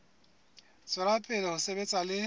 tswela pele ho sebetsa le